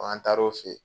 an taar'o fɛ ye